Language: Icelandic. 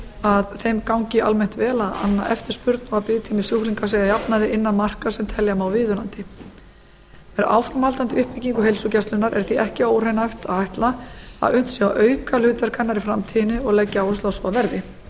að þeim gangi almennt vel að anna eftirspurn og að biðtími sjúklinga sé að jafnaði innan marka sem telja má viðunandi með áframhaldandi uppbyggingu heilsugæslunnar er því ekki óraunhæft að ætla að unnt sé að auka hlutverk hennar í framtíðinni og legg ég áherslu á að svo verði